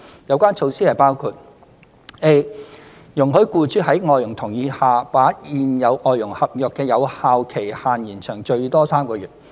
有關措施包括： a 容許僱主在外傭同意下，把現有外傭合約的有效期限延長最多3個月。